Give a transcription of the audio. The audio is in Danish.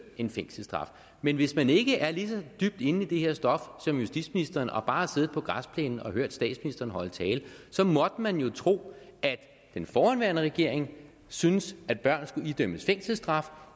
en fængselsstraf men hvis man ikke er lige så dybt inde i det her stof som justitsministeren og bare har siddet på græsplænen og hørt statsministeren holde tale måtte man jo tro at den forhenværende regering syntes at børn skulle idømmes fængselsstraf